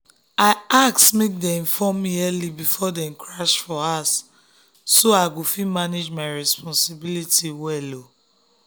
i ask make dem inform me early before dem crash for house so i go fit manage my responsibility well.